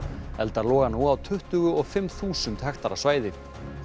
eldar loga nú á tuttugu og fimm þúsund hektara svæði